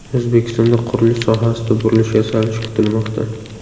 O‘zbekistonda qurilish sohasida burilish yasalishi kutilmoqda.